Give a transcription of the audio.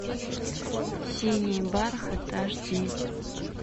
синий бархат аш ди